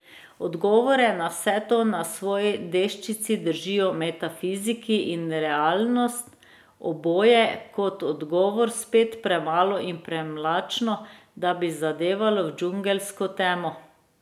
Odgovore na vse to na svoji deščici držijo metafiziki in realnost, oboje je kot odgovor spet premalo in premlačno, da bi zadevalo v džungelsko temo.